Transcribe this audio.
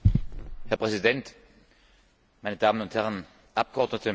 Herr Präsident, meine Damen und Herren Abgeordnete!